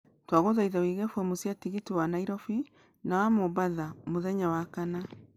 Twagũthaitha ũige fomũ cia tigiti wa Nairobi na wa mombatha mũthenya wa Wakana